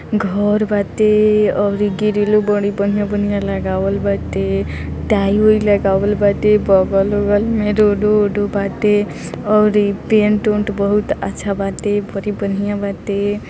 घर बाटे और ग्रिलो भी बढ़िया-बढ़िया लगावल बाटे| टाइलो लगावल बाटे बगल-उगल में रोडो - उड़ो बाटे और पेंट -उंट बहुत अच्छा बाटे बड़ी बढ़िया बाटे |